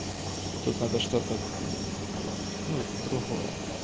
тут надо что-то другое